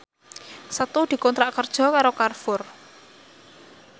Setu dikontrak kerja karo Carrefour